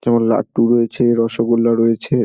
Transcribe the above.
কেমন লাড্ডু রয়েছে রসগোল্লা রয়েছে |